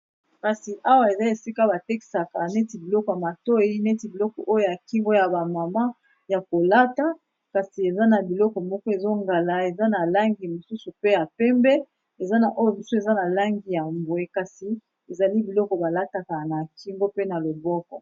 Kasi awa eza esika bateksaka neti biloko ya matoi neti biloko oyo yakimgo ya ba mama ya kolata. Kasi eza na biloko moko ezongala eza na langi mosusu pe ya pembe eza na oyo misusu eza na langi ya mbwe kasi ezali biloko balataka na kimgo pe na loboko.